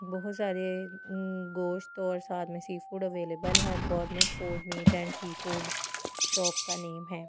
बहुत सारे गोश्त और साथ में सी फूड अवेलेबल है gourmet food meat and seafood shop का नाम है।